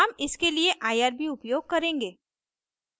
हम इसके लिए irb उपयोग करेंगे